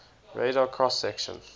radar cross section